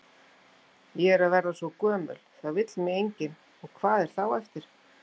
Ég er að verða svo gömul, það vill mig enginn, og hvað er þá eftir?